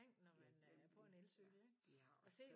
Ja det er nemlig de har også